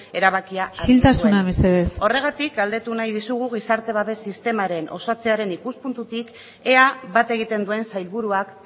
erabakia hartu zuen isiltasuna mesedez horregatik galdetu nahi dizugu gizarte babes sistemaren osatzearen ikuspuntutik ea bat egiten duen sailburuak